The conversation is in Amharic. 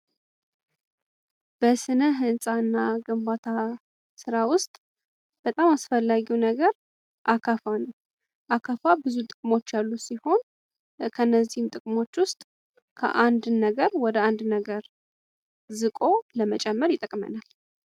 በስነ ህንፃና ግንባታ ስራ ውስጥ በጣም አስፈላጊ ነገር አካፋ ነው። አካፋ ብዙ ጥቅሞች ያሉ ሲሆን ከእነዚህም ጥቅሞች ውስጥ ከአንድን ነገር ወደ አንድ ነገር ዝቆ ለመጨመር ይጠቅማል።